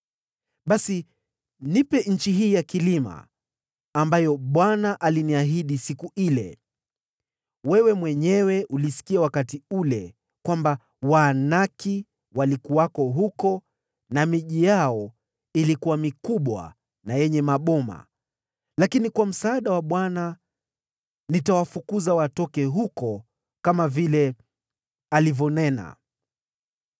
Basi nipe nchi hii ya vilima, ambayo Bwana aliniahidi siku ile. Wewe mwenyewe ulisikia wakati ule kwamba Waanaki walikuwako huko na miji yao ilikuwa mikubwa na yenye maboma, lakini, kwa msaada wa Bwana , nitawafukuza watoke huko kama vile alivyonena.”